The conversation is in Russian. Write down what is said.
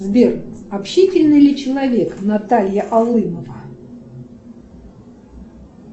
сбер общительный ли человек наталья алымова